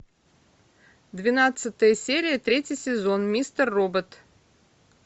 двенадцатая серия третий сезон мистер робот